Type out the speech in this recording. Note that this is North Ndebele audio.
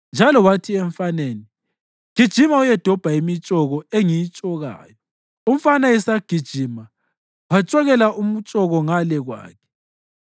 njalo wathi emfaneni, “Gijima uyedobha imitshoko engiyitshokayo.” Umfana esagijima, watshokela umtshoko ngale kwakhe.